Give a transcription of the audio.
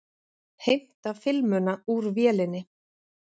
Heimta filmuna úr vélinni.